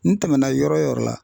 N tɛmɛna yɔrɔ yɔrɔ la